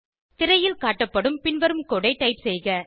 திரையில் காட்டப்படும் பின்வரும் கோடு ஐ டைப் செய்க